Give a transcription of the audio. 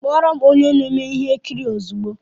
Kpọọ ro'm onye na-eme ihe nkiri ozugbo!